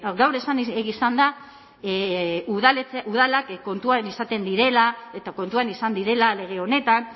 gaur esan izan da udalak kontuan izaten direla eta kontuan izan direla lege honetan